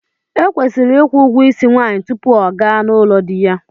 Ekwesiri ịkwụ ụgwọ isi nwaanyị tupu ọ gaa n'ụlọ di ya.